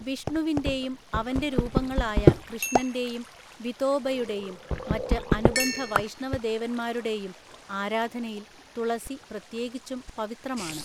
വിഷ്ണുവിന്റെയും അവന്റെ രൂപങ്ങളായ കൃഷ്ണന്റെയും വിതോബയുടെയും മറ്റ് അനുബന്ധ വൈഷ്ണവ ദേവന്മാരുടെയും ആരാധനയിൽ തുളസി പ്രത്യേകിച്ചും പവിത്രമാണ്.